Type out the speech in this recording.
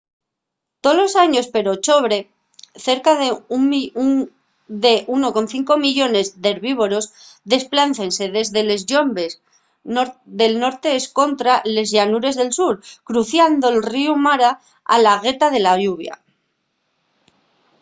tolos años per ochobre cerca de 1,5 millones d'herbívoros desplácense dende les llombes del norte escontra les llanures del sur cruciando'l ríu mara a la gueta de la lluvia